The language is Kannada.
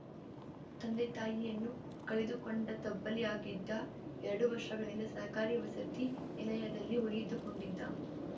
ತಂದೆ ತಾಯಿಯನ್ನು ಕಳೆದುಕೊಂಡ ತಬ್ಬಲಿಯಾಗಿದ್ದ ಎರಡು ವರ್ಷಗಳಿಂದ ಸರ್ಕಾರಿ ವಸತಿ ನಿಲಯದಲ್ಲಿ ಉಳಿದುಕೊಂಡಿದ್ದ